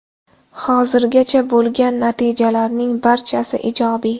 Hozirgacha bo‘lgan natijalarning barchasi ijobiy.